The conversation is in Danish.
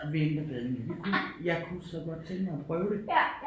Vinterbadning jeg kunne så godt tænke mig at prøve det